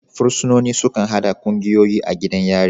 Fursunoni sukan haɗa ƙungiyoyi a gidan yari.